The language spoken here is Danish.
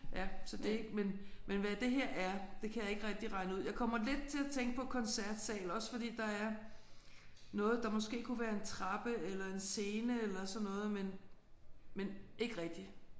Ja så det ikke men hvad det her er det kan jeg ikke rigtig regne ud. Jeg kommer lidt til at tænke på koncertsal også fordi der er noget der måske kunne være en trappe eller en scene eller sådan noget men men ikke rigtig